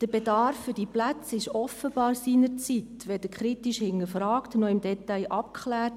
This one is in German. Der Bedarf für diese Plätze wurde offenbar seinerzeit weder kritisch hinterfragt noch im Detail abgeklärt.